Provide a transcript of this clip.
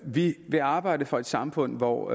vi vil arbejde for et samfund hvor